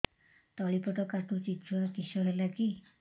ତଳିପେଟ କାଟୁଚି ଛୁଆ କିଶ ହେଲା କି